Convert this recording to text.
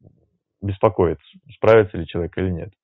беспокоит справится ли человек или нет